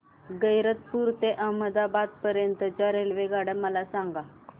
गैरतपुर ते अहमदाबाद पर्यंत च्या रेल्वेगाड्या मला सांगा